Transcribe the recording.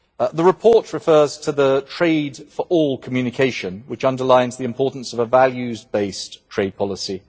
The report refers to the Trade for All communication, which underlines the importance of a values based trade policy.